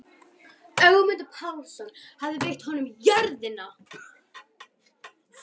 Ögmundur Pálsson hafði veitt honum jörðina.